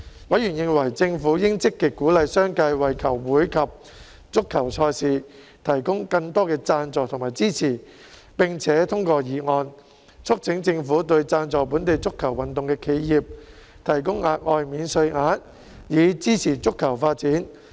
委員認為政府應積極鼓勵商界為球會及足球賽事提供更多贊助和支持，並且通過議案，促請政府對贊助本地足球運動的企業提供額外免稅額，以支持足球發展。